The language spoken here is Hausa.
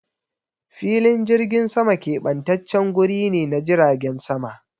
Filin jirgin sama kebantaccen guri ne na jiragen sama.